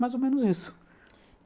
Mais ou menos isso.